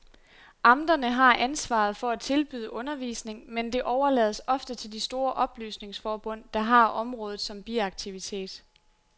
Amterne har ansvaret for at tilbyde undervisning, men det overlades ofte til de store oplysningsforbund, der har området som biaktivitet.